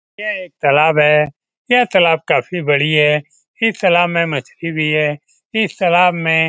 यह एक तालाब है। यह तालाब का काफी बड़ा है। इस तालाब में मछली भी है। इस तालाब में --